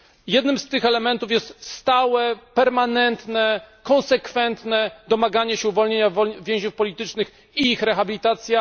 Jednym z tych elementów jest stałe, permanentne, konsekwentne domaganie się uwolnienia więźniów politycznych i ich rehabilitacji.